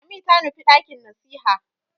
Lami ta nufi ɗakin nasiha.